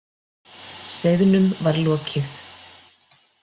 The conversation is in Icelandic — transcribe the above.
Seiðnum var lokið.